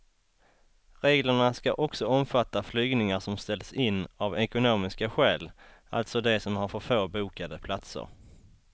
Reglerna ska också omfatta flygningar som ställs in av ekonomiska skäl, alltså de som har för få bokade platser.